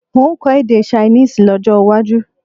N ó kọ èdè Ṣainíìsì lọ́jó̩ waju